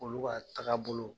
Olu ka tagabolo.